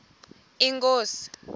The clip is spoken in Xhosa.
inkosi